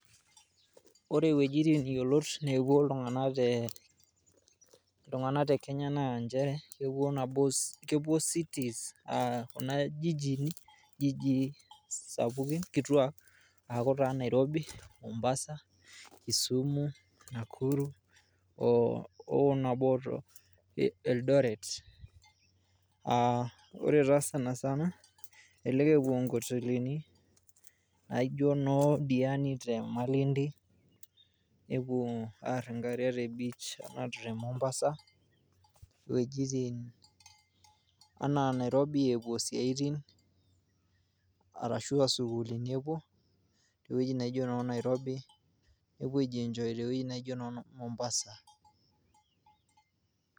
Ore iwuejitin yiolot nepuo iltunganak te Kenya naa nchere kepuo Kuna jijini ,jiji sapukin kituaak aaku taa Nairobi, Mombasa Kisumu, Nakuru o Eldoret . Aa ore taa sanasana elelek epuo nkotelini naijo noo diani te malindi nepuo aar nkariak te beach. Ashu te Mombasa iwuejitin anaa Nairobi epuo isiatin arashu aa sukulini epuo ,.ewueji naijo noo Nairobi nepuo aijienjoy tewueji naijo noo Mombasa .